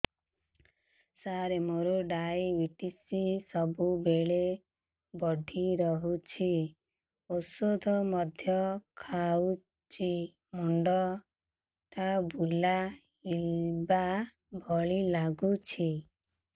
ସାର ମୋର ଡାଏବେଟିସ ସବୁବେଳ ବଢ଼ା ରହୁଛି ଔଷଧ ମଧ୍ୟ ଖାଉଛି ମୁଣ୍ଡ ଟା ବୁଲାଇବା ଭଳି ଲାଗୁଛି